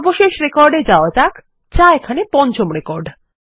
সর্বশেষ রেকর্ড এ যাওয়া যাক যা এখানে পঞ্চম রেকর্ড